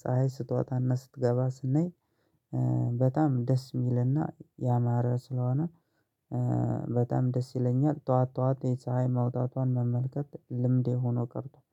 ፀሀይ ስትወጣ እና ስትገባ ስናይ በጣም ደስ የሚል እና ያማረ ስለሆነ በጣም ደስ ይለኛል። ጠዋት ጠዋት ፀሀይን መመልከት ልምዴ ሆኖ ቀርቷል